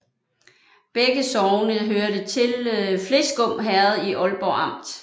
Begge sogne hørte til Fleskum Herred i Ålborg Amt